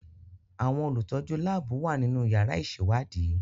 Àwọn olùtọ́jú láàbù wà nínú yàrá ìṣèwádìí.